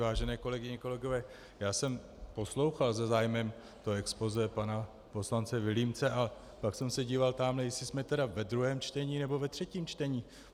Vážené kolegyně, kolegové, já jsem poslouchal se zájmem to expozé pana poslance Vilímce a pak jsem se díval tamhle, jestli jsme tedy ve druhém čtení nebo ve třetím čtení.